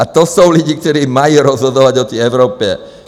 A to jsou lidé, kteří mají rozhodovat o té Evropě.